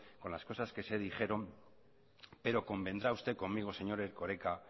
con las cosas que se dijeron pero convendrá usted conmigo señor erkoreka